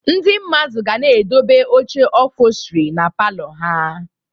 Ndị mmadụ ga na-edobe oche ụphọlstri na palọ ha